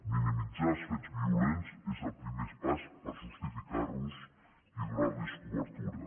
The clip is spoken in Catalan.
minimitzar els fets violents és el primer pas per justificar los i donar los cobertura